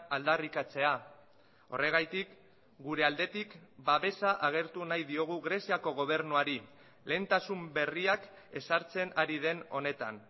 aldarrikatzea horregatik gure aldetik babesa agertu nahi diogu greziako gobernuari lehentasun berriak ezartzen ari den honetan